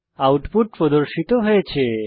output প্রদর্শিত হয়েছে